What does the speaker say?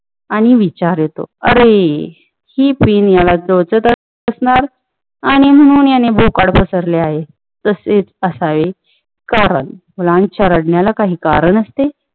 आणि विचार अरे ती सेफ्टी पिन मुलाला टोचत असणार आणि म्हणुन याने भोकाड पसरले आहे तसेच काही आहे पण मुलांच्या रडण्याला काही कारण असते